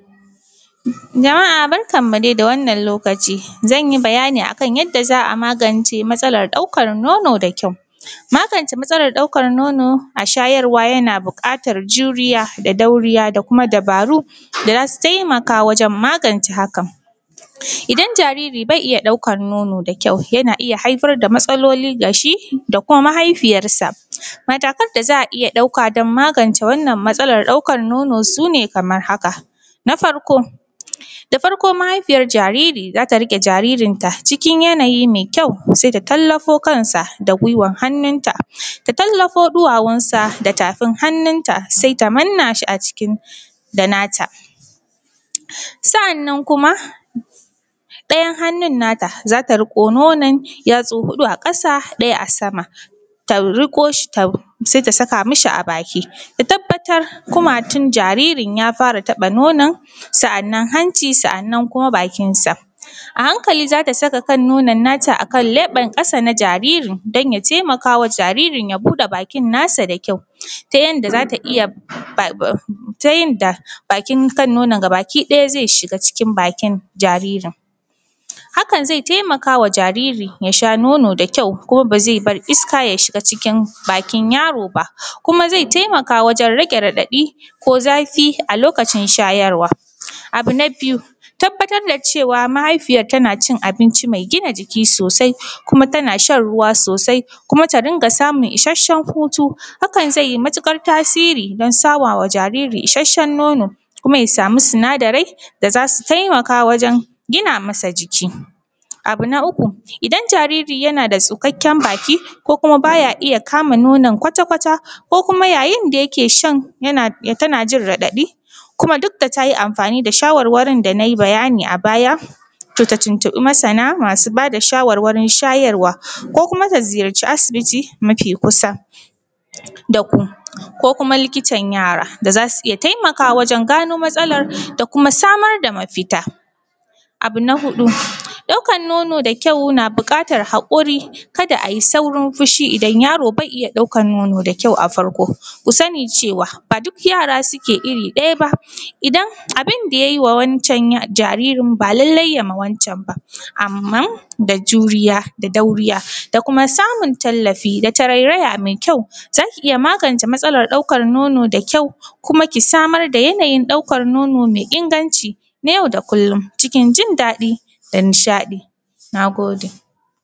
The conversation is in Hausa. Jama'a barkan mu dai da wannan lokaci. Zan yi bayani a kan yadda za a magance wannan matsalan ɗaukar nono da kyau. Magance matsalar ɗaukan nono a shayarwa yana buƙatar juriya da dauriya da kuma dabaru da za su taimaka wajan magance hakan. Idan jariri bai iya ɗaukar nono da kyau, yana iya haifar da matsaloli ga shi, da kuma mahaifiyarsa. Matakan da za a iya ɗauka don magance wannan matsalan don ɗaukan nono sune kamar haka. Na farko, da farko mahaifiyar jariri za ta riƙe jaririnta cikin yanayi mai kyau, sai ta tallafo kansa da guiwan hannunta ta tallafo ɗuwawunsa da tafin hannunta, sai ta manna shi a jiki da na ta sa’annan kuma ɗayan hannun na ta za ta riƙo nonon yatsu huɗu a ƙasa ɗaya a sama ta riƙo shi sai ta saka ma shi a baki. Ta tabbatar kumatun jaririn ya fara taɓa nonon sa’annan hanci, sa’annan kuma bakinsa. A hankali za ta saka nonon na ta a kan leɓan ƙasa na jaririn don ya taimaka wa jaririn ya buɗa bakin nasa da kyau, ta yanda za ta iya ta yanda bakin kan nonon gabaki ɗaya zai shiga cikin bakin jaririn. Hakan zai taimaka wa jaririn ya sha nonon da kyau, kuma ba zai bar iska ya shiga cikin bakin yaro ba, kuma zai taimaka wajan rage raɗaɗi ko zafi a lokacin shayarwa. Abu na biyu tabbatar da cewa mahaifiyar tana cin abinci mai gina jiki sosai, kuma tana shan ruwa sosai, kuma ta dinga samun ishashshen hutu. Hakan zai yi matuƙar tasiri don sama ma jariri ishashshen nono, kuma ya samu sinadarai da za su taimaka wajan gina masa jiki. Abu na uku idan jariri yana da tsukakkyan baki ko kuma ba ya iya kama nonon kwata kwata, ko kuma yayin da yake shan tana jin raɗaɗi kuma duk da ta yi amfani da shawarwarin da na yi bayani a baya to ta tuntuɓi masana masu ba da shawarwarin shayarwa, ko kuma ta ziyarci asibiti mafi kusa da ku, ko kuma likitan yara da zasu iya taimakawa wajan gano matsalan da kuma samar da mafita. Abu na huɗu ɗaukan nono da kyau na buƙatan haƙuri ka da a yi saurin fushi. Idan yaro bai iya ɗaukar nono da kyau a farko ku sani cewa ba duk yara suke iri ɗaya ba, idan abin yayi wa wancan jaririn ba lallai yayi ma wancan ba. Amman da juriya da dauriya da kuma samin tallafi da tarairaya mai kyau za ki iya magance matsalan ɗaukan nono da kyau kuma ki samar da yanayi ɗaukar nono mai inganci na yau da kullum na cikin jin daɗi da nishaɗi. Na gode.